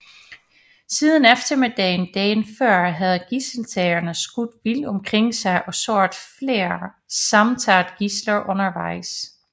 Siden eftermiddagen dagen før havde gidseltagerne skudt vildt omkring sig og såret flere samt taget gidsler undervejs